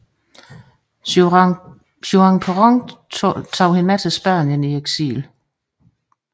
Juan Perón tog hende med til Spanien i eksil